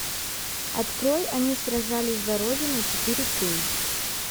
открой они сражались за родину четыре кей